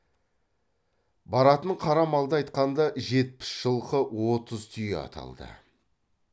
баратын қара малды айтқанда жетпіс жылқы отыз түйе аталды